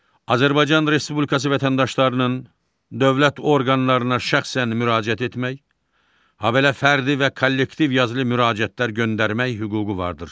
Azərbaycan Respublikası vətəndaşlarının dövlət orqanlarına şəxsən müraciət etmək, habelə fərdi və kollektiv yazılı müraciətlər göndərmək hüququ vardır.